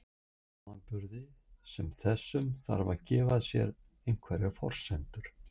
í samanburði sem þessum þarf að gefa sér einhverjar forsendur